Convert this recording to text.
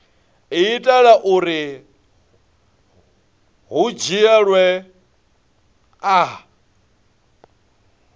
itela uri hu dzhielwe nha